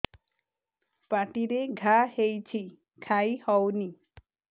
ପାଟିରେ ଘା ହେଇଛି ଖାଇ ହଉନି